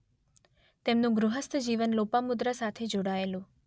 તેમનું ગૃહસ્થ જીવન લોપામુદ્રા સાથે જોડાયેલું